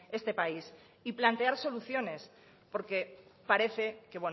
este país y plantear soluciones porque parece que